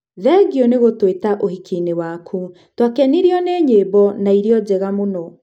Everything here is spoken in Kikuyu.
Thengio nĩ gũtũĩta ũhiki-inĩ waku. Twakenirio nĩ nyĩmbo, na irio njega mũno.